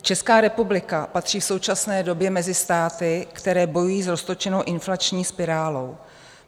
Česká republika patří v současné době mezi státy, které bojují s roztočenou inflační spirálou.